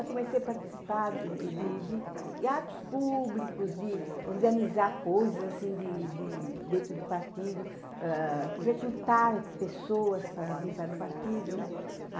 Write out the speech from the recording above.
É, comecei a participar de atos públicos, de organizar coisas, assim, dentro do partido, recrutar pessoas para vir para o partido, né?